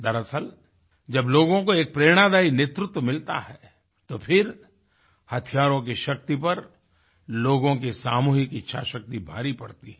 दरअसल जब लोगों को एक प्रेरणादायी नेतृत्व मिलता है तो फिर हथियारों की शक्ति पर लोगों की सामूहिक इच्छाशक्ति भारी पड़ती है